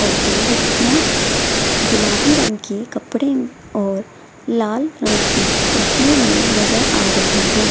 और दो लड़कियां गुलाबी रंग के कपड़े और लाल रंग की टोपियों मे नजर आ रही हैं।